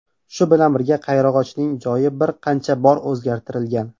Shu bilan birga qayrag‘ochning joyi bir necha bor o‘zgartirilgan.